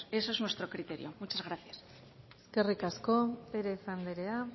ese es nuestro criterio muchas gracias eskerrik asko pérez anderea